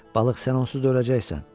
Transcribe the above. Balıq, sən onsuz da öləcəksən.